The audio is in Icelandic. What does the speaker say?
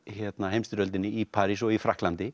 heimsstyrjöldinni í París og í Frakklandi